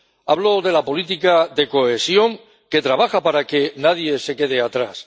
hablo de la política de cohesión, que trabaja para que nadie se quede atrás.